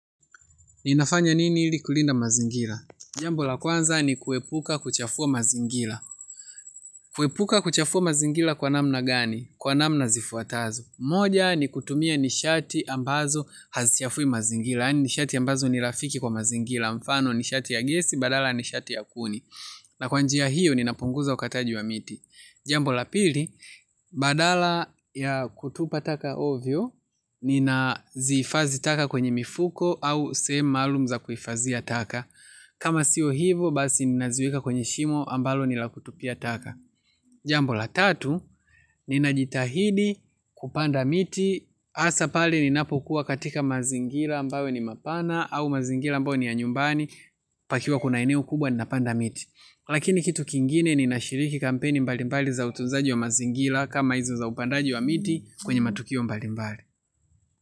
Ninafanya nini ili kulinda mazingira. Jambo la kwanza ni kuepuka kuchafua mazingira. Kuepuka kuchafua mazingira kwa namna gani? Kwa namna zifuatazo. Moja ni kutumia nishati ambazo hazichafui mazingira. Yaani nishati ambazo ni rafiki kwa mazingira. Mfano nishati ya gesi, badala ya nishati ya kuni. Na kwa njia hiyo, ninapunguza ukataji wa miti. Jambo la pili, badala ya kutupa taka ovyo, ninazihifadhi taka kwenye mifuko au sehemu maalum za kufadhia taka. Kama sio hivo basi ninaziweka kwenye shimo ambalo ni la kutupia taka. Jambo la tatu. Ninajitahidi kupanda miti. Hasa pale ninapokuwa katika mazingira ambayo ni mapana au mazingira ambayo ni ya nyumbani. Pakiwa kuna eneo kubwa ninapanda miti. Lakini kitu kingine ninashiriki kampeni mbali mbali za utunzaji wa mazingira. Kama hizo za upandaji wa miti kwenye matukio mbali mbali.